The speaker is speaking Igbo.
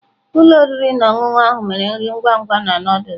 Ụlọ oriri na ọṅụṅụ ahụ mere nri ngwa ngwa na Nụdụls.